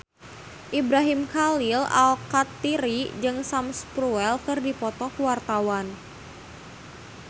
Ibrahim Khalil Alkatiri jeung Sam Spruell keur dipoto ku wartawan